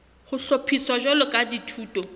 ho hlophiswa jwalo ka dithuto